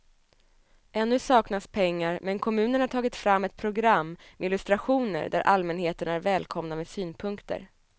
Ännu saknas pengar men kommunen har tagit fram ett program med illustrationer där allmänheten är välkomna med synpunkter.